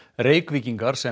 Reykvíkingar sem